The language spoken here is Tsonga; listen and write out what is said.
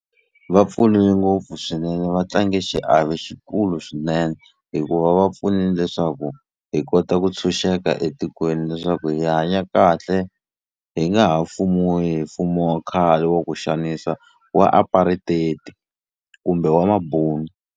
Va pfunile ngopfu swinene va tlange xiave xikulu swinene hikuva va pfunile leswaku hi kota ku tshunxeka etikweni leswaku hi hanya kahle hi nga ha pfuniwa hi mfumo wa khale wa ku xanisa wa apartheid kumbe wa mabunu.